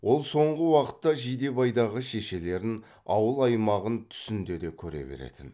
ол соңғы уақытта жидебайдағы шешелерін ауыл аймағын түсінде де көре беретін